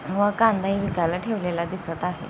व कांदाही विकायला ठेवलेला दिसत आहे.